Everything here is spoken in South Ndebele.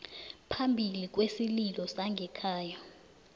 phambili kwesililo sangekhaya